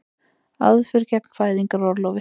Aðför gegn fæðingarorlofi